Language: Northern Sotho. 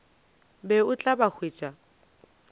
be o tla ba hwetša